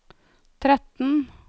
tretten